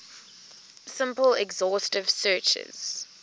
simple exhaustive searches